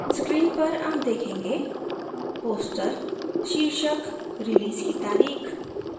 screen पर आप देखेंगे पोस्टर शीर्षक रिलीज की तारीख